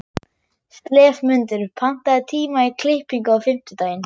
slefmundur, pantaðu tíma í klippingu á fimmtudaginn.